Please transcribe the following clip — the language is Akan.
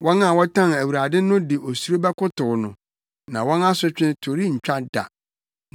Wɔn a wɔtan Awurade no de osuro bɛkotow no, na wɔn asotwe to rentwa da.